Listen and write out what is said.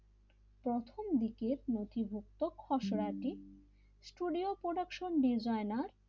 প্রথম দিকে নথিভুক্ত খসড়াটি স্টুডিও প্রডাকশন ডিজাইনার,